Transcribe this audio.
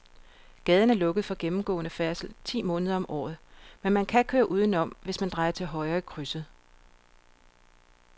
Gaden er lukket for gennemgående færdsel ti måneder om året, men man kan køre udenom, hvis man drejer til højre i krydset.